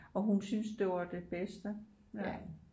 Og hun syntes det var det bedste ja